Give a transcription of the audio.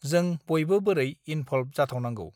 जों बयबो बोरै इनभ्लभ जाथावनांगौ